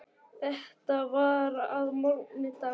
Þetta var að morgni dags.